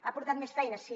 ha portat més feina sí